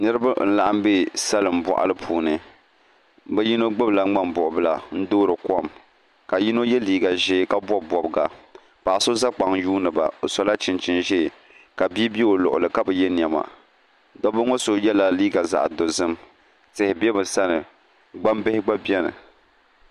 Niraba n laɣam bɛ salin boɣali puuni bi yino gbubila ŋmani buɣubili n toori kom ka yino yɛ liiga ʒiɛ ka bob bobga paɣa so ʒɛ kpaŋ yuundiba bi sola chinchini ʒiɛ ka bia bɛ o luɣuli ka bi yɛ niɛma dabba ŋo so yɛla liiga zaɣ dozim tihi bɛ bi sani gbambihi gba biɛni